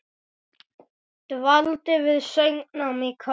Dvaldi við söngnám í Köln.